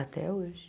Até hoje.